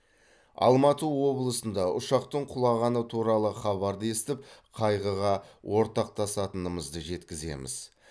алматы облысында ұшақтың құлағаны туралы хабарды естіп қайғыға ортақтасатынымызды жеткіземіз